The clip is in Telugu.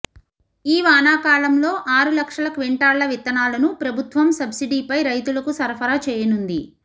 ఈ వానాకాలంలో ఆరు లక్షల క్వింటాళ్ల విత్తనాలను ప్రభుత్వం సబ్సిడీపై రైతులకు సరఫరా చేయనుంది